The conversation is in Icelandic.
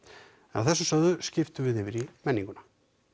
þessu sögðu skiptum við yfir í menninguna